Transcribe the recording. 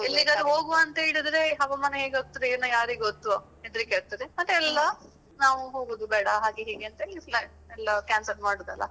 ಎಲ್ಲಿಗಾದ್ರೂ ಹೋಗುವಾ ಅಂತ ಹೇಳಿದ್ರೆ ಹವಾಮಾನ ಹೇಗಾಗ್ತದಾ ಏನೋ ಯಾರಿಗೊತ್ತು ಹೆದ್ರಿಕಾಗ್ತದೆ. ಮತ್ತೆ ಎಲ್ಲ ನಾವು ಹೋಗುದು ಬೇಡ ಹಾಗೆ ಹೀಗೆ ಅಂತ ಹೇಳಿ plan ಎಲ್ಲ cancel ಮಾಡುದಲ್ಲ.